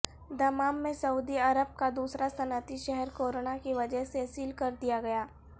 Dammam میں سعودی عرب کا دوسرا صنعتی شہر کرونا کی وجہ سے سیل کردیا گیا